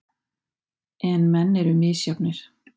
En menn eru misjafnir.